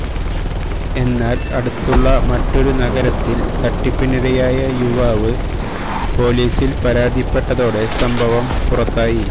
എന്നാൽ അടുത്തുള്ള മറ്റൊരു നഗരത്തിൽ തട്ടിപ്പിനിരയായ യുവാവ് പൊലീസിൽ പരാതിപ്പെട്ടതോടെ സംഭവം പുറത്തായി